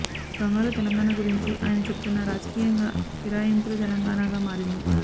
బంగారు తెలంగాణ గురించి ఆయన చెబుతున్నా రాజకీయంగా ఫిరాయింపుల తెలంగాణగా మారింది